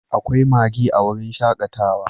Akwai Maggie a wurin shakatawa